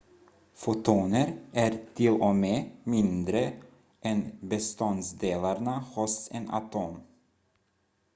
fotoner är till och med mindre än beståndsdelarna hos en atom